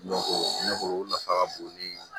ne kɔni o nafa ka bon ni